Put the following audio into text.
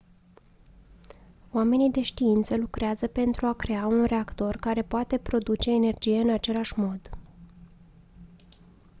oamenii de știință lucrează pentru a crea un reactor care poate produce energie în același mod